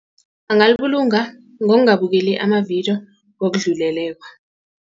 Angalibulunga ngokungabukeli amavidiyo ngokudluleleko.